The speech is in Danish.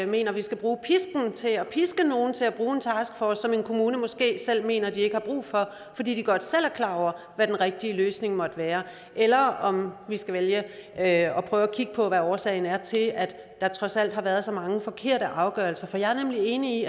mener at vi skal bruge pisken til at piske nogle til at bruge en taskforce som en kommune måske selv mener at den ikke har brug for fordi den godt selv er klar over hvad den rigtige løsning måtte være eller om vi skal vælge at prøve at kigge på hvad årsagen er til at der trods alt har været så mange forkerte afgørelser for jeg er nemlig enig